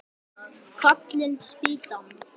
Fallin spýtan!